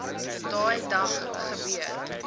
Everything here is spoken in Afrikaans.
daai dag gebeur